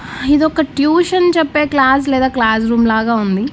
ఇదొక ట్యూషన్ చెప్పే క్లాసు లేదా క్లాస్ రూమ్ లాగా ఉంది.